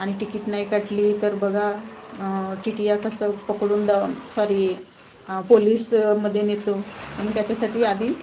आणि तिकीट नाही काटली तर बघा आह टी_टी कसं पकडून ड सॉरी आह पोलिसमध्ये नेतो म्हणून त्याच्यासाठी आधी--